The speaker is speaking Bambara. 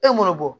E m'o bɔ